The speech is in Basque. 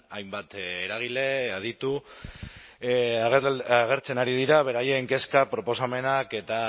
hainbat eragile aditu agertzen ari dira beraien kezka proposamenak eta